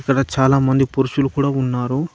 ఈడ చాలామంది పురుషులు కూడా ఉన్నారు.